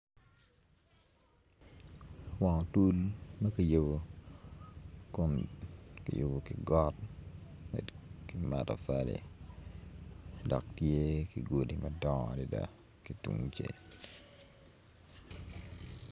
Wang otul ma kiyubo kun kiyubo ki got med ki matafali dok tye gudi ma dongo adada ki tungcel.